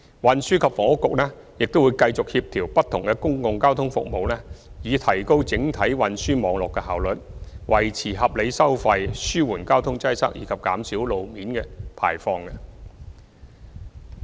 運輸及房屋局會繼續協調不同的公共交通服務以提高整體運輸網絡的效率、維持合理收費、紓緩交通擠塞，以及減少路邊排放。